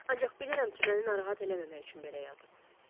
Ancaq bilirəm ki, məni narahat eləməmək üçün belə yazıb.